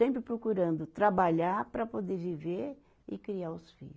Sempre procurando trabalhar para poder viver e criar os filho.